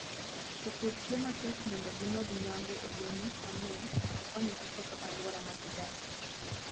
Jopur tiyo matek mondo gimed nyago olemo mang'eny to koni giketho alwora ma gidakie.